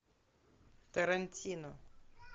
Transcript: тарантино